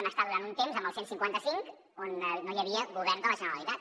vam estar durant un temps amb el cent i cinquanta cinc on no hi havia govern de la generalitat